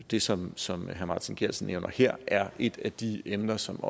det som som herre martin geertsen nævner her er et af de emner som